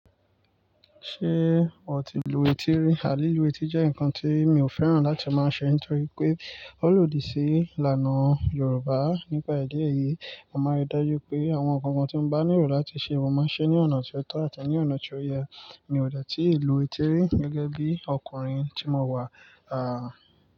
Ṣé o ti lu etí rí? À, li lu etí jẹ́ nǹkan tí mi ò fẹ́ràn láti máa ṣe nítorí pé ó lòdì sí ìlànà Yorùbá. Nípa idi eyi, mo máa rí dájú pé àwọn nkankan tí mo bá nílò láti ṣe, mo máa ṣe ní ọ̀nà tó tọ̀ àti ní ọ̀nà tó yẹ. Mi ò dètí lu etí ri gẹ́gẹ́ bí ọkùnrin tí mo wà. Àà.